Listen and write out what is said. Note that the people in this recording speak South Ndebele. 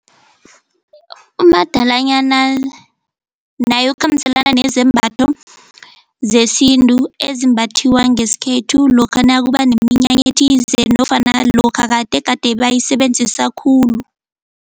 Umadalanyana naye ukhambiselana nezembatho zesintu ezimbathiwa ngesikhethu lokha nakuba neminyanya ethize nofana lokha kade gade bayisebenzisa khulu.